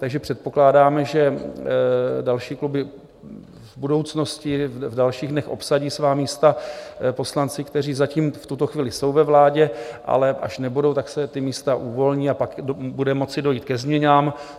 Takže předpokládám, že další kluby v budoucnosti, v dalších dnech obsadí svá místa poslanci, kteří zatím v tuto chvíli jsou ve vládě, ale až nebudou, tak se ta místa uvolní a pak bude moci dojít ke změnám.